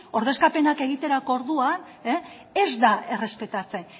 ordezkapenak egiterako orduan ez da errespetatzen